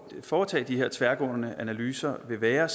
foretage de her tværgående analyser vil være